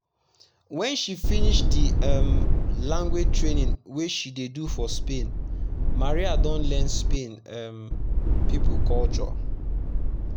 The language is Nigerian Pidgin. when she finish the um language training wey she dey do for spain maria don learn spain um people culture.